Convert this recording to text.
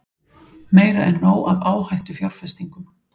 Meira en nóg af áhættufjárfestingum